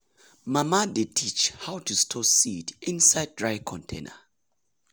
mama dey teach how to store seed inside dry container.